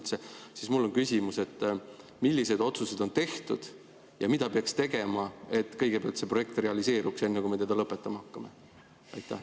Seepärast ma küsin: milliseid otsuseid on tehtud ja mida peaks tegema, et kõigepealt see projekt realiseeruks, enne kui me lõpetama hakkame?